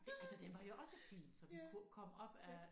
Altså den var jo også fin så vi kunne komme op ad